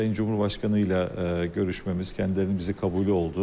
Sayın Cümhurbaşqanı ilə görüşməmiz kəndələn bizi qabulu oldu.